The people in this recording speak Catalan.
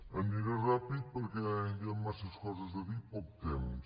aniré ràpid perquè hi ha massa coses a dir i poc temps